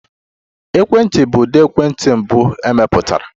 Ekwentị bụ ụdị ekwentị mbụ emepụtara.